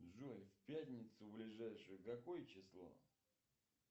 джой в пятницу ближайшую какое число